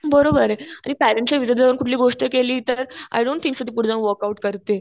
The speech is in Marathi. बरोबर तुम्ही पेरेंट्स च्या विरुद्ध जाऊन कुठली गोष्ट केली तर अजून ते सुद्धा पुढे जाऊन वॉलकॉट करतील.